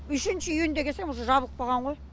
үшінші июньде келсем уже жабылып қаған ғой